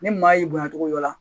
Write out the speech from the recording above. Ni maa y'i bonya togo dɔ la